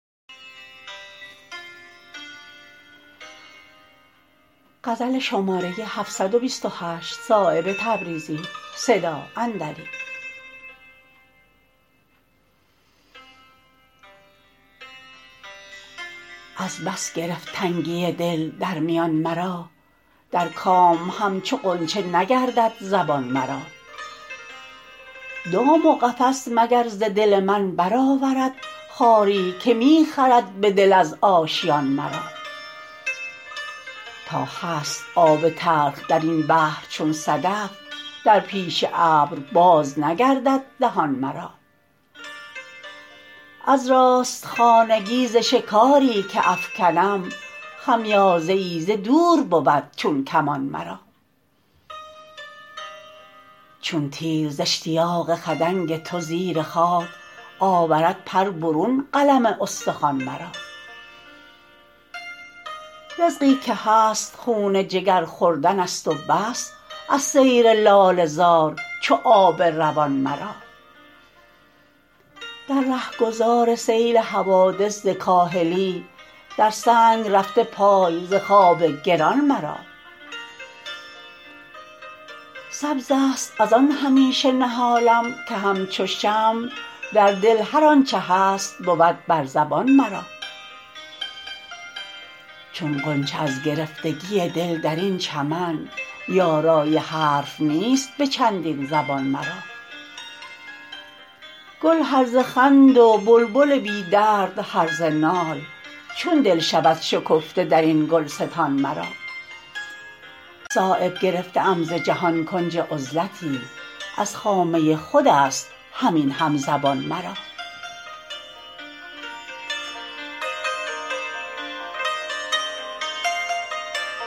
از بس گرفت تنگی دل در میان مرا در کام همچو غنچه نگردد زبان مرا دام و قفس مگر ز دل من برآورد خاری که می خلد به دل از آشیان مرا تا هست آب تلخ درین بحر چون صدف در پیش ابر باز نگردد دهان مرا از راست خانگی ز شکاری که افکنم خمیازه ای ز دور بود چون کمان مرا چون تیر ز اشتیاق خدنگ تو زیر خاک آورد پر برون قلم استخوان مرا رزقی که هست خون جگر خوردن است و بس از سیر لاله زار چو آب روان مرا در رهگذار سیل حوادث ز کاهلی در سنگ رفته پای ز خواب گران مرا سبزست ازان همیشه نهالم که همچو شمع در دل هر آنچه هست بود بر زبان مرا چون غنچه از گرفتگی دل درین چمن یارای حرف نیست به چندین زبان مرا گل هرزه خند و بلبل بی درد هرزه نال چون دل شود شکفته درین گلستان مرا صایب گرفته ام ز جهان کنج عزلتی از خامه خودست همین همزبان مرا